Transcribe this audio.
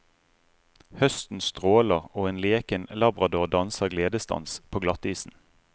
Høsten stråler, og en leken labrador danser gledesdans på glattisen.